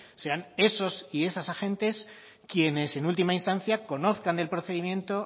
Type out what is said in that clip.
sean esos y esas agentes quienes en última instancia conozcan el procedimiento